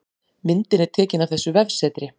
Myndin er tekin af þessu vefsetri